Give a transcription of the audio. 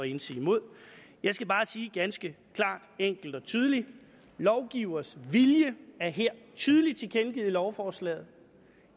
indsige imod jeg skal bare sige ganske klart enkelt og tydeligt lovgivers vilje er her tydeligt tilkendegivet i lovforslaget